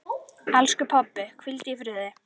Elsku pabbi, hvíldu í friði.